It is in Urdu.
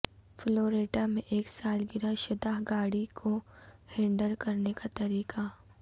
فلوریڈا میں ایک سالگرہ شدہ گاڑی کو ہینڈل کرنے کا طریقہ